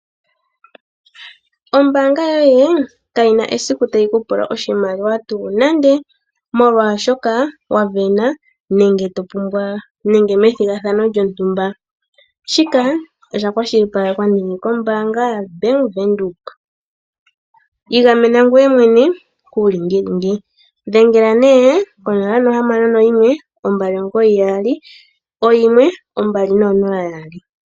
Ombaanga yoye kayi na esiku tayi ku pula oshimaliwa tuu nande, molwashoka wa sindana nenge methigathano lontumba. Shika osha kwashilipalekwa nee kombaanga ya bank Windhoek. Igamena ngeye mwene kuulingilingi. Dhengela nee 0612991200.